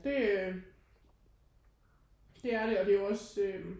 Det det er det og det er jo også øh